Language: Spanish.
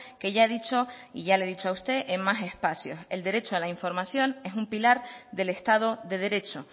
que ya he dicho y ya le he dicho a usted en más espacios el derecho a la información es un pilar del estado de derecho